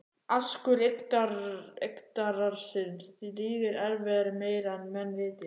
Askur Yggdrasils drýgir erfiði meira en menn viti